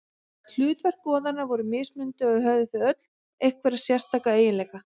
Hlutverk goðanna voru mismunandi og höfðu þau öll einhverja sérstaka eiginleika.